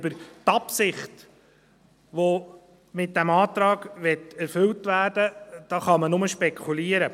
Über die Absicht, die man mit diesem Antrag erfüllen möchte, kann man nur spekulieren.